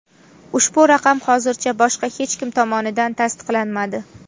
Ushbu raqam hozircha boshqa hech kim tomonidan tasdiqlanmadi.